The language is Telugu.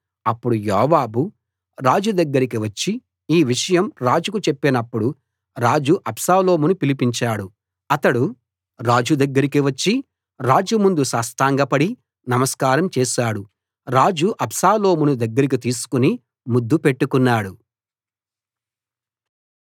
అప్పుడు యోవాబు రాజు దగ్గరికి వచ్చి ఆ విషయం రాజుకు చెప్పినప్పుడు రాజు అబ్షాలోమును పిలిపించాడు అతడు రాజు దగ్గరికి వచ్చి రాజు ముందు సాష్టాంగపడి నమస్కారం చేశాడు రాజు అబ్షాలోమును దగ్గరికి తీసుకుని ముద్దు పెట్టుకున్నాడు